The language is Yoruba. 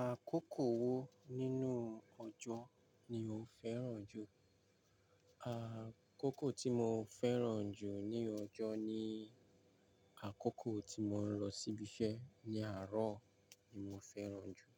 Àkókò wo nínú ọjọ́ ni o fẹ́ràn jù? Àkókò tí mo fẹ́ràn jù ní ọjọ́ ni àkókò tí mo ń lọ síbi iṣẹ́ ní àárọ̀ ni mo fẹ́ràn jù.